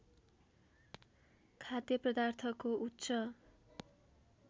खाद्य पदार्थको उच्च